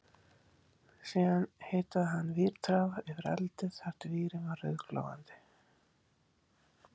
Síðan hitaði hann vírþráð yfir eldi þar til vírinn var rauðglóandi